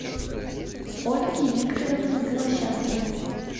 ольги викторовны голощаповой